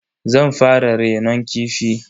Zan fara renon kifi.